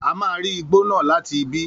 A máa ri igbó náà láti ibí